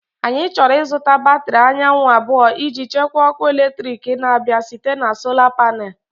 Anyị chọrọ ịzụta batrị anyanwụ abụọ iji chekwaa ọkụ eletrik na-abịa site na Sola Panel.